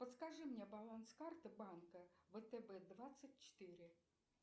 подскажи мне баланс карты банка втб двадцать четыре